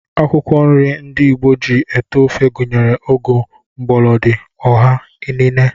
Akwụkwọ nri ndị Igbo ji ete ofe gụnyere ụgụ, mgbọlọdị, ụha, inine